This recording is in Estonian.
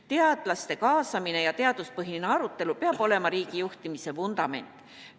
Teadlaste kaasamine ja teaduspõhine arutelu peab olema riigijuhtimise vundament.